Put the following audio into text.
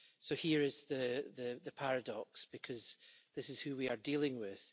So here is the paradox, because this is who we are dealing with.